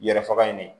Yɛrɛ faga in de